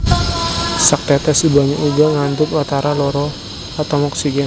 Saktètès banyu uga ngandhut watara loro atom oksigen